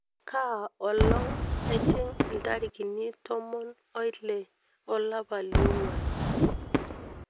kaa olong ejing ntarikini tomon oile olapa liongwan